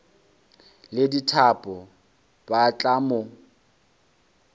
le dithapo ba tla mo